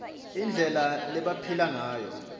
indlela lebabephila ngayo